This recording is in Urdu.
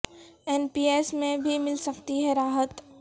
این پی ایس میں بھی مل سکتی ہے راحت